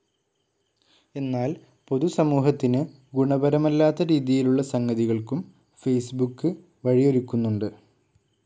എന്നാൽ പൊതുസമൂഹത്തിന് ഗുണപരമല്ലാത്ത രീതിയിലുള്ള സംഗതികൾക്കും ഫേസ്ബുക്ക് വഴിയൊരുക്കുന്നുണ്ട്.